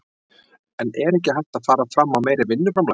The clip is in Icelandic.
En er ekki hægt að fara fram á meira vinnuframlag?